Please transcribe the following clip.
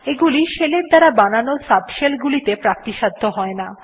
এগুলি শেলের দ্বারা বানানো সাবশেল গুলিতে প্রাপ্তিসাধ্য হয় না